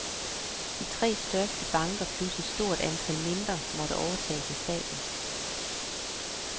De tre største banker plus et stort antal mindre måtte overtages af staten.